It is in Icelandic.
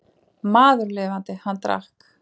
Maður lifandi, hann drakk.